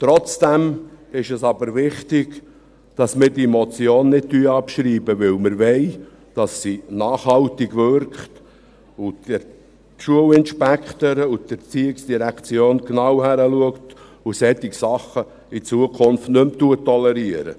Trotzdem ist es wichtig, dass wir diese Motion nicht abschreiben, denn wir wollen, dass sie nachhaltig wirkt und die Schulinspektoren und die ERZ genau hinschauen und solche Dinge in Zukunft nicht mehr tolerieren.